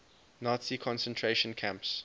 nazi concentration camps